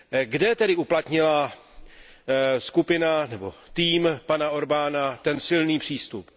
Kde tedy uplatnila skupina nebo tým pana Orbána ten silný přístup?